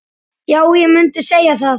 Já, ég mundi segja það.